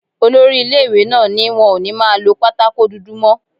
Olori ilé-ìwé náà ní wọn ò ní máa lọ pátákò dúdú mọ́